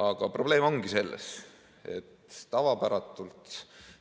Aga probleem ongi selles, et tavapäratult